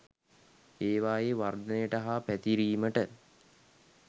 ඒවායේ වර්ධනයට හා පැතිරීමට